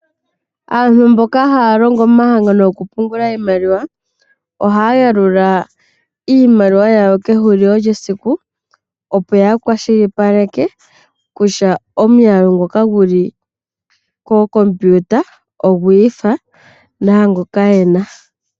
Aantu mboka haya longo momahangano goku pungula iimaliwa ohaya yalula iimaliwa yawo kehulilo lyesiku, opo ya kwashilipaleke kutya omuyalu ngoka gu li kookompiuta ogwi ifa naangoka yena.